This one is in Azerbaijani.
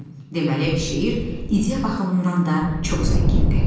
Deməli şeir ideya baxımından da çox zəngindir.